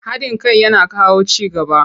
Haɗin kai yana kawo ci gaba.